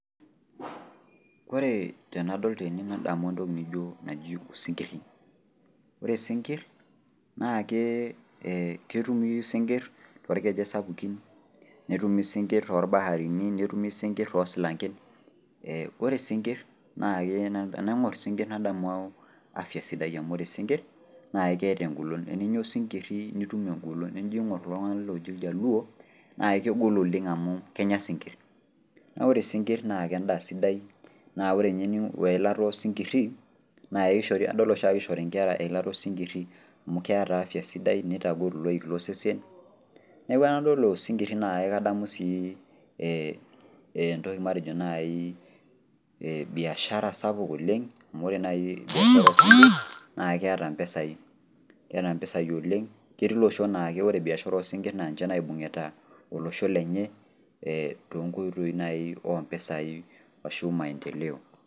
Koree tenadol tene nadamu entoki nijo naji osinkirri. Ore sinkirr naakee ketumi sinkirr toolkejek sapuki, netumi sinkirr tolbaharini, netumi sinkirr toosilanken ee ore sinkirr tenaing'orr sinkirr nadamu  afya sidai amu ore sinkirr naake keeta engolon. Eninya osinkirri nitum engolon enijo ing'orr kulo tung'ana looji oljaluo naakegol oleng' amu kenya isinkirr. Naa ore sinkirr naake endaa sidai naa ore eilata osinkirri naa eishori adol oshi, adol oshiake eishori nkera eilata osinkirri amu keeta afya sidai neitagol iloik losesen neaku enadol osinkirri naake kadamu sii ee entoki matejo naii ee biashara sapuk oleng' amu ore nai biashara sapuk naakeeta mpisai, eata mpisai oleng'. Ketii iloshon naa ore biashara oosinkirr naa ninche naibung'ita olosho lenye tonkoitoi nai o mpesai ashu maendeleo.